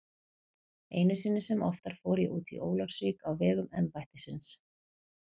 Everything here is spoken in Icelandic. Einu sinni sem oftar fór ég út í Ólafsvík á vegum embættisins.